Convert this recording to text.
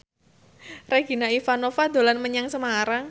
Regina Ivanova dolan menyang Semarang